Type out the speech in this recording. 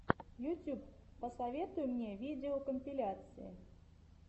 ютьюб посоветуй мне видеокомпиляции